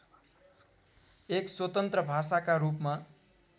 एक स्वतन्त्र भाषाका रूपमा